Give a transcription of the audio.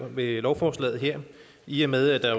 ved lovforslaget her i og med at